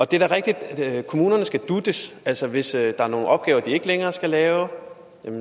det er da rigtigt at kommunerne skal dutes altså hvis der er nogle opgaver de ikke længere skal lave